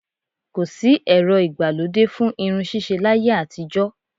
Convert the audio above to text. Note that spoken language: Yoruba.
Ko sì ẹ̀rọ ìgbà lóde fún irun ṣíṣe láyé àtijó